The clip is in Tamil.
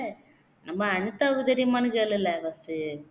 நம்ம அனிதாவுக்கு தெரியுமானு கேளுலே first டு